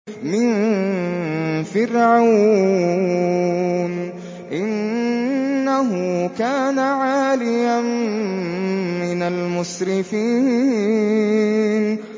مِن فِرْعَوْنَ ۚ إِنَّهُ كَانَ عَالِيًا مِّنَ الْمُسْرِفِينَ